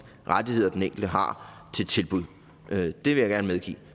rettigheder den enkelte har til tilbud det vil jeg gerne medgive